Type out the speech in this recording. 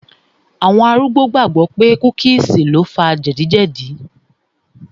Àwọn arúgbó gbàgbọ̀ pé cookies lo fa jẹ̀díjẹ̀dí